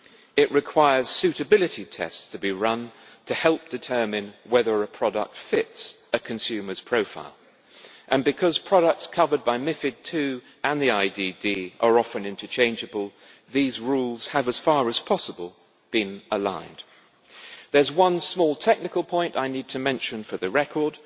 It requires suitability tests to be run to help determine whether a product fits a consumer's profile, and because products covered by MiFID II and the IDD are often interchangeable, these rules have, as far as possible, been aligned. There is one small technical point I need to mention for the record.